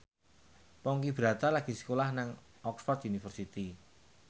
Ponky Brata lagi sekolah nang Oxford university